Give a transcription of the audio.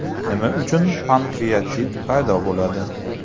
Nima uchun pankreatit paydo bo‘ladi?